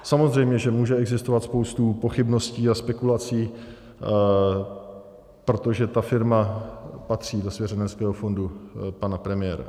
Samozřejmě že může existovat spousta pochybností a spekulací, protože ta firma patří do svěřenského fondu pana premiéra.